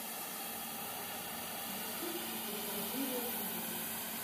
ютюб рукоделие тв